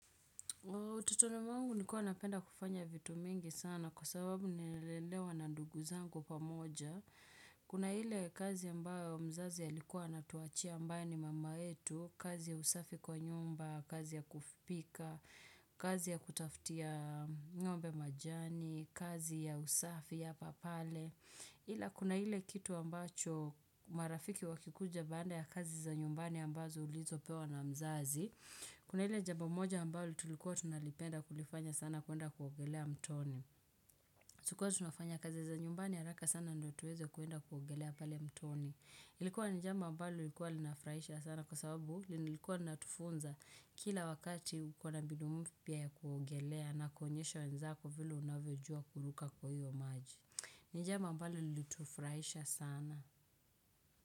Ututoni mwangu nilikuwa napenda kufanya vitu mingi sana kwa sababu nililelewa na ndugu zangu pamoja. Kuna ile kazi ambayo mzazi alikuwa ana tuachia ambaye ni mama yetu, kazi ya usafi kwa nyumba, kazi ya kufipika, kazi ya kutafutia ng'ombe majani, kazi ya usafi ya papale. Ila kuna ile kitu ambacho marafiki wakikuja baanda ya kazi za nyumbani ambazo ulizopewa na mzazi Kuna ile jambo moja ambalo tulikuwa tunalipenda kulifanya sana kuenda kuogelea mtoni. Tulikuwa tunafanya kazi za nyumbani haraka sana ndo tuweze kuenda kuogelea pale mtoni Ilikuwa ni jambo ambalo liikuwa linafraisha sana kwa sababu lilikuwa natufunza kila wakati ukona bidu mpya ya kuogelea na kuonyesha wenzako vile unavyojua kuluka kwa hiyo maji ni jambo ambalo lilitufraisha sana.